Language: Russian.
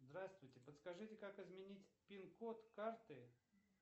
здравствуйте подскажите как изменить пин код карты